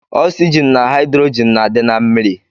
Ọksygin na haidrogin na adi na mmiri.